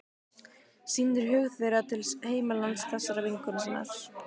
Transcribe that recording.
Sýnir hug þeirra til heimalands þessarar vinkonu sinnar.